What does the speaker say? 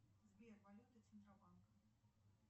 сбер валюта центробанка